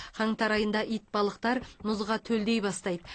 қаңтар айында итбалықтар мұзға төлдей бастайды